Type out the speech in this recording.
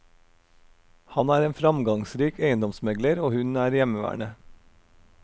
Han er en framgangsrik eiendomsmegler og hun er hjemmeværende.